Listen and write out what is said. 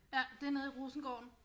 Ja det er nede i Rosengården